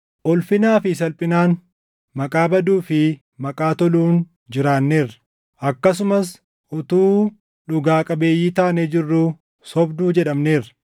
ulfinaa fi salphinaan, maqaa baduu fi maqaa toluun jiraanneerra; akkasumas utuu dhugaa qabeeyyii taanee jirruu, sobduu jedhamneerra;